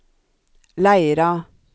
Leira